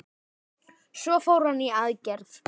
Svo fór hann í aðgerð.